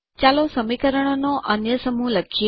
ચાલો સમીકરણોનો અન્ય સમૂહ લખીએ